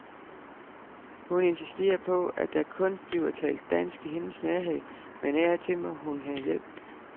Hun insisterer på, at der kun bliver talt dansk i hendes nærhed, men af og til må hun have hjælp.